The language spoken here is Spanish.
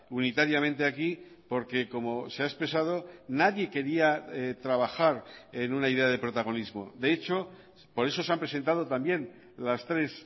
unitariamente aquí porque como se ha expresado nadie quería trabajar en una idea de protagonismo de hecho por eso se han presentado también las tres